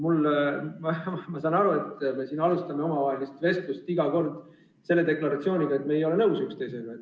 Ma saan aru, et me alustame iga kord vestlust deklaratsiooniga, et me ei ole üksteisega nõus.